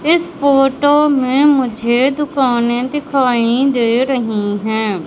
इस फोटो में मुझे दुकाने दिखाई दे रही हैं।